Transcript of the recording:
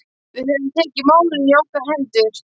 Við höfum tekið málin í okkar hendur.